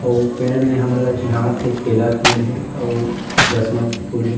अउ पेड़ में हमन ला चिन्हात हे केला के पेड़ हे अउ दसमत के फूल हे ।